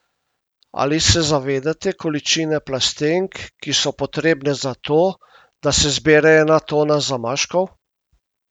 Ali se zavedate količine plastenk, ki so potrebne zato, da se zbere ena tona zamaškov?